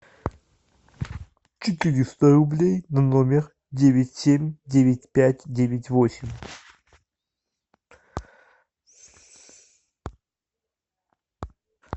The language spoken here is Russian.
четыреста рублей на номер девять семь девять пять девять восемь